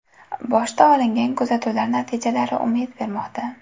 Boshda olingan kuzatuvlar natijalari umid bermoqda.